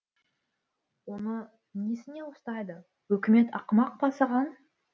оны несіне ұстайды үкімет ақымақ па саған